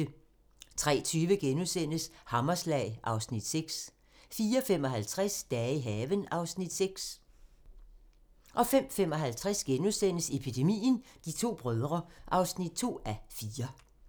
03:20: Hammerslag (Afs. 6)* 04:55: Dage i haven (Afs. 6) 05:55: Epidemien - De to brødre (2:4)*